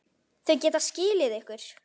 Þau geta skilið ykkur.